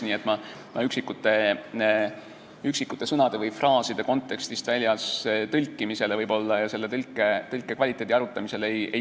Ma ei kulutaks selle suure saali aega üksikute sõnade või fraaside kontekstivälisele tõlkimisele ja selle tõlke kvaliteedi arutamisele.